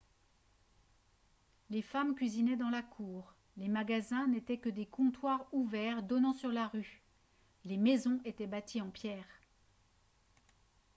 les femmes cuisinaient dans la cour les magasins n'étaient que des comptoirs ouverts donnant sur la rue les maisons étaient bâties en pierres